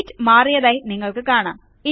sheet മാറിയതായി നിങ്ങൾക്ക് കാണാം